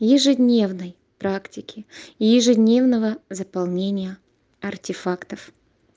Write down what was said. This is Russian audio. ежедневной практике ежедневного заполнения артефактов